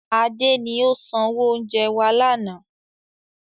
Adé ni ó sanwó oúnjẹ wá lànà